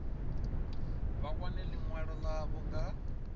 vha wane ḽiṅwalo ḽavho nga